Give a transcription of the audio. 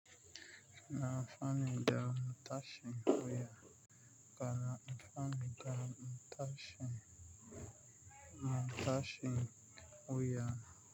Ina amfani da matashin wuya. Kana amfani da matashin, wuya.